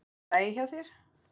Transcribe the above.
Er allt í lagi hjá þér?